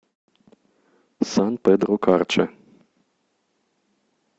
сан педро карча